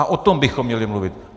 A o tom bychom měli mluvit.